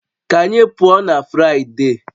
Ka anyị pụọ na Fụraịde